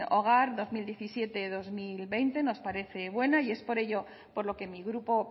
hogar dos mil diecisiete dos mil veinte nos parece buena y es por ello por lo que mi grupo